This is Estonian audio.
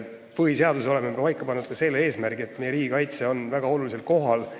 Põhiseaduses oleme paika pannud ka selle, et riigikaitse on meie riigi elus väga olulisel kohal.